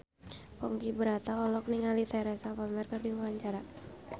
Ponky Brata olohok ningali Teresa Palmer keur diwawancara